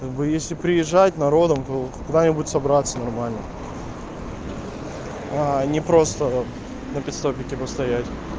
как бы если приезжать народом то куда-нибудь собраться нормально не просто на питстопике постоять